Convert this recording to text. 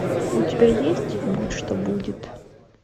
у тебя есть будь что будет